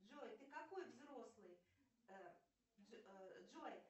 джой ты какой взрослый джой